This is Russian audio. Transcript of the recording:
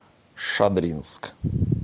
шадринск